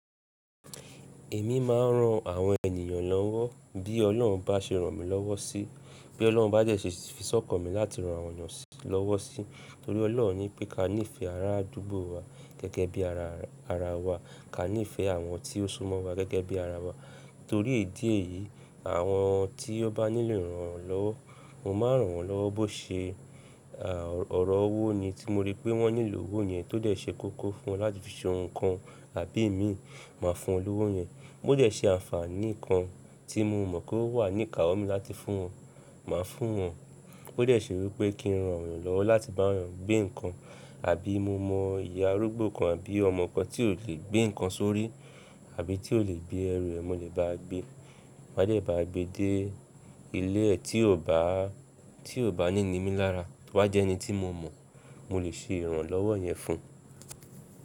Èmi máa ń ran àwọn ènìyàn lọ́wọ́ bí Ọlọ́run bá ṣe ràn mí lọ́wọ́ sí, bí Ọlọ́run bá jẹ ṣe fi sọ̀kọ̀ mi láti ran àwọn ènìyàn lọ́wọ́ sí torí Ọlọ́run ní pé ká níìfẹ̀ẹ́ ará àdúgbò wa gẹ́gẹ́ bí ara wa, ká níìfẹ̀ẹ́ àwọn tí ó súmọ́ wa gẹ́gẹ́ bí ara wa. Torí ìdí èyí, àwọn tí ó bá nílò ìrànlọ́wọ́, mo máa ràn wọ́n lọ́wọ́ bó ṣe ọ̀rọ̀ owó ni tí mo rí pé wọ́n nílò owó yẹn tó dẹ̀ ṣe kókó fún wọn láti fi ṣe ohun kan àbí èmi máa fún wọn lówó yẹn. Bo dẹ̀ ṣe àǹfààní kan tí mo mọ̀ kó wà ní ìkáwọ́ mi láti fún wọn, màá fún wọn. Bo dẹ̀ ṣe wípé kí n ran àwọn lọ́wọ́ láti bá wọn gbé nǹkan àbí mo mọ ìyá arúgbó kan àbí ọmọ kan tí ò lè gbé nǹkan sórí àbí tí ò lè gbé ẹrù rẹ̀, mo lè bá a gbé. Màá dẹ̀ bá a gbe dé ilé ẹ̀ tí ò bá ní ni mí lára, tí wọ́n jẹ́ ẹni tí mo mọ̀, mo lè ṣe ìrànlọ́wọ́ yẹn fún un.